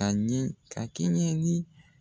Ani ka ka kɛɲɛ ni